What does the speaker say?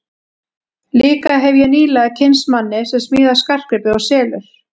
Líka hefi ég nýlega kynnst manni sem smíðar skartgripi og selur.